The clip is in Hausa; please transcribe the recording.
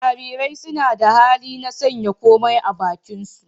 Jarirai suna da hali na sanya komai a bakinsu.